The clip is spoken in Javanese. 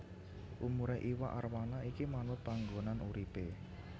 Umurè iwak arwana iki manut panggonan uripè